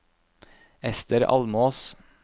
Esther Almås